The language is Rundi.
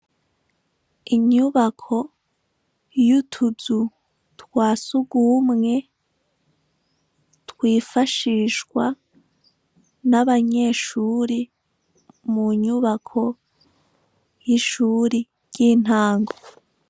Inyubako y'utuzu twasugumwe twifashishwa n'abanyeshuri mu nyubako y'ishuri ry'intango.